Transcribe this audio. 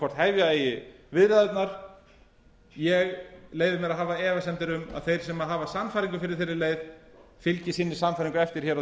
hvort hefja eigi viðræðurnar ég leyfi mér að hafa efasemdir um að þeir sem hafa sannfæringu fyrir þeirri leið fylgi sinni sannfæringu eftir á